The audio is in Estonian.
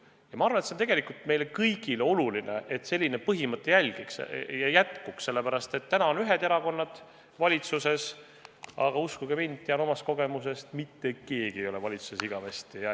Ja ma arvan, et see on tegelikult meile kõigile oluline, et selline põhimõte jätkuks, sellepärast, et täna on ühed erakonnad valitsuses, aga uskuge mind, tean omast kogemusest, mitte keegi ei ole valitsuses igavesti.